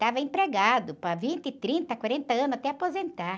Estava empregado para vinte, trinta, quarenta anos até aposentar.